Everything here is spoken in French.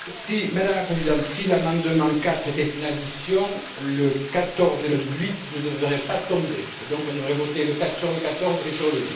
Madame la Présidente, si l'amendement 4 était une addition, le 14 et le 8 ne devraient pas tomber et donc, on aurait voté sur le 14 et sur le